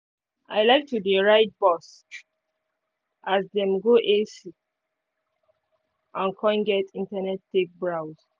i like to dey ride bus as dem get ac and con get internet take browse